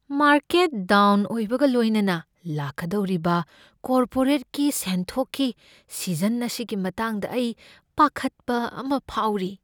Market down ꯑꯣꯏꯕꯒ ꯂꯣꯏꯅꯅ ꯂꯥꯛꯀꯗꯧꯔꯤꯕ ꯀꯣꯔꯄꯣꯔꯦꯠꯒꯤ ꯁꯦꯟꯊꯣꯛꯀꯤ ꯁꯤꯖꯟ ꯑꯁꯤꯒꯤ ꯃꯇꯥꯡꯗ ꯑꯩ ꯄꯥꯈꯠꯄ ꯑꯃ ꯐꯥꯎꯔꯤ꯫